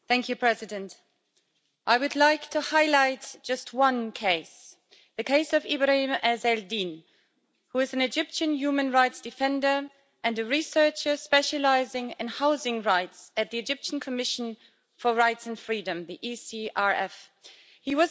Mr President, I would like to highlight just one case the case of Ibrahim Ezz El Din, who is an Egyptian human rights defender and a researcher specialising in housing rights at the Egyptian Commission for Rights and Freedom He